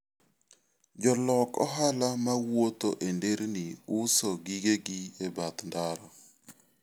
Jolok ohala ma wuotho e nderni uso gigegi e bath ndara.